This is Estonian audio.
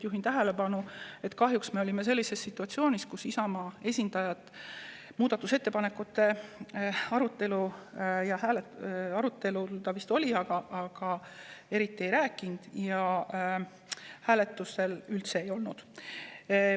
Juhin tähelepanu, et kahjuks me olime sellises situatsioonis, kus Isamaa esindaja muudatusettepanekute arutelul vist oli, aga eriti midagi ei rääkinud, ja hääletusel teda üldse ei olnud.